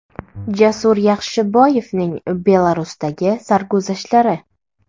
Jasur Yaxshiboyevning Belarusdagi sarguzashtlari !